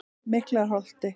Miklaholti